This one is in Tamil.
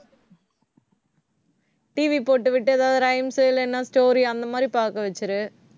TV போட்டுவிட்டு, ஏதாவது rhymes இல்லைன்னா story அந்த மாதிரி பார்க்க வச்சிடு